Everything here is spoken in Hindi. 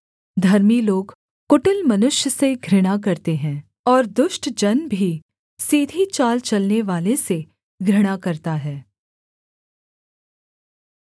धर्मी लोग कुटिल मनुष्य से घृणा करते हैं और दुष्ट जन भी सीधी चाल चलनेवाले से घृणा करता है